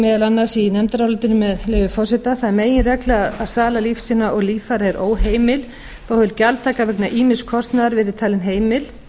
meðal annars í nefndarálitinu með leyfi forseta það er meginregla að sala lífsýna og líffæra er óheimil þó hefur gjaldtaka vegna ýmiss kostnaðar verið talin heimil